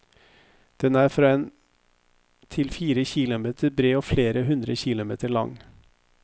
Den er fra en til fire kilometer bred og flere hundre kilometer lang.